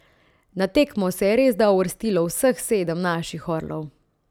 Na tekmo se je resda uvrstilo vseh sedem naših orlov.